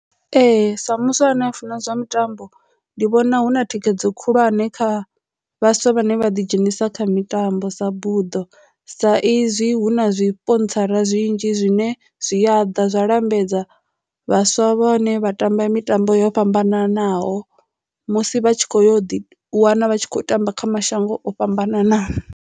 Ee, sa muswa ane a funa zwa mitambo ndi vhona hu na thikhedzo khulwane kha vhaswa vhane vha ḓi dzhenisa kha mitambo sa buḓo sa izwi hu na zwipontsara zwi nnzhi zwine zwi a ḓa zwa lambedza vhaswa vhane vha tamba mitambo yo fhambananaho musi vha tshi kho yo ḓi wana vha tshi kho tamba kha mashango o fhambananaho.